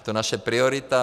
Je to naše priorita.